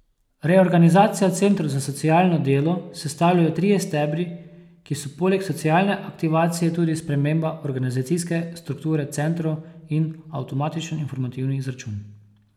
Reorganizacijo centrov za socialno delo sestavljajo trije stebri, ki so poleg socialne aktivacije tudi sprememba organizacijske strukture centrov in avtomatičen informativni izračun.